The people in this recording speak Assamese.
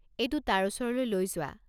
এইটো তাৰ ওচৰলৈ লৈ যোৱা।